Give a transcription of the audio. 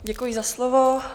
Děkuji za slovo.